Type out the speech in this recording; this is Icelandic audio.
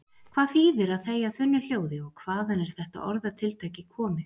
Hvað þýðir að þegja þunnu hljóði og hvaðan er þetta orðatiltæki komið?